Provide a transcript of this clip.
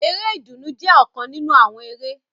Eré ìdùnnú jẹ ọkan ninu awọn eré.